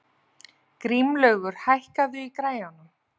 Grímlaugur, hækkaðu í græjunum.